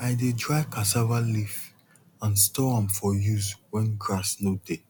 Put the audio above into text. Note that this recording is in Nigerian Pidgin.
i dey dry cassava leaf and store am for use when grass no dey